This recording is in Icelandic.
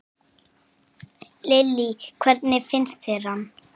Lillý: Hvernig finnst þér hann?